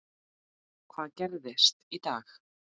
Hvað gerist í dag?